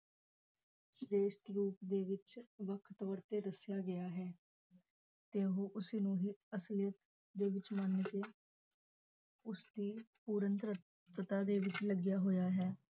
ਸਰੇਸ਼ਟ ਰੂਪ ਦੇ ਵਿਚ ਵਖ ਤੋਰ ਤੇ ਦਸਿਆ ਗਿਆ ਹੈ ਤੇ ਉਂਹ ਉਸੇ ਨੂੰ ਹੀ ਅਸਲੀਅਤ ਦੇ ਵਿਚ ਮਨ ਕੇ ਉਸਦੀ ਪੂਰਨ ਦੇ ਵਿਚ ਲੱਗਾ ਹੋਇਆ ਹੈ